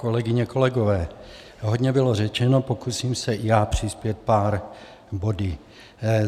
Kolegyně, kolegové, hodně bylo řečeno, pokusím se i já přispět pár body.